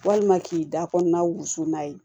Walima k'i da kɔnɔna wusu n'a ye